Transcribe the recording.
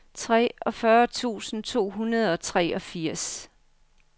treogfyrre tusind to hundrede og treogfirs